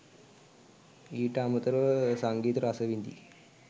ඊට අමතරව සංගීතය රස විඳි